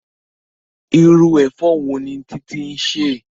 Irú ẹ̀fọ́ wo ni Titi ń sè?